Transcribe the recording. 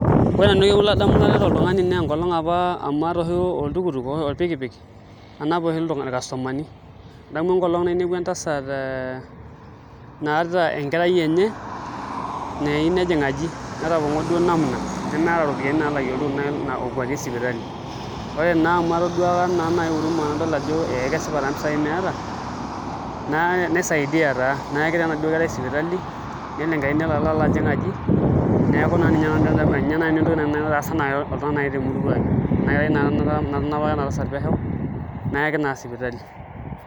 Ore orkekun latareto oltung'ani naa enkolong' apa amu aata oshi olpikipik anap oshi ircustomerni adamu enkolong' nainepua entasat naata enkerai enye nayieu nejing' aji, netapong'o duo namna nemeeta iropiyiani naalakie oltukutuk okwatie sipitali ore naa amu atoduaka naa uruma nadol ajo ekesipa taa mpisaai meeta naisaidia taa nayaki enaduo kerai sipitali nelo enkerai nelo alo ajing' aji neeku ninye naai nanu entoki naitaasa oltung'ani naai temurua ang' ina kerai naa natanapaka ina tasat pesho nayaki naa sipitali.